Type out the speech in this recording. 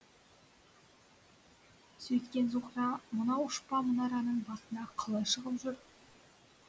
сөйткен зуһра мынау ұшпа мұнараның басына қалай шығып жүр